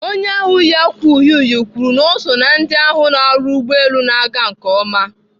Onye ahụ yi ákwà uhie uhie kwuru na ọ so ná ndị na-ahụ na ọrụ ụgbọelu na-aga nke ọma.